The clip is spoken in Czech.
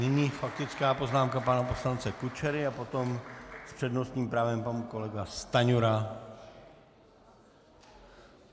Nyní faktická poznámka pana poslance Kučery a potom s přednostním právem pan kolega Stanjura.